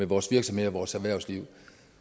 vores virksomheder vores erhvervsliv